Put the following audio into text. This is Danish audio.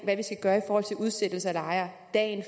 hvad vi skal gøre i forhold til udsættelse af lejere dagen